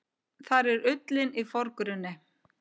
Þar er ullin í forgrunni.